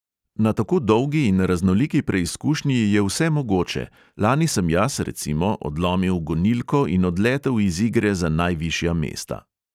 Na tako dolgi in raznoliki preizkušnji je vse mogoče, lani sem jaz, recimo, odlomil gonilko in odletel iz igre za najvišja mesta.